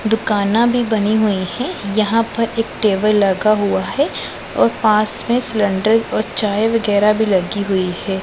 दुकाना भी बनी हुई है यहां पर एक टेबल लगा हुआ है और पास में सिलेंडर और चाय वगैराह भी लगी हुई है।